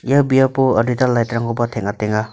ia biapo adita light-rangkoba teng·atenga.